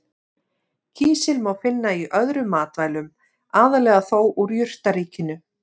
Kísil má finna í öðrum matvælum, aðallega þó úr jurtaríkinu.